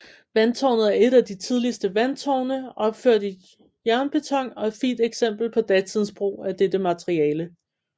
Vandtårnet er et af de tidligste vandtårne opført i jernbeton og et fint eksempel på datidens brug af dette materiale